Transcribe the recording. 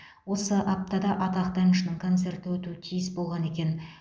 осы аптада атақты әншінің концерті өтуі тиіс болған екен